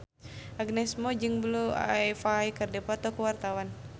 Agnes Mo jeung Blue Ivy keur dipoto ku wartawan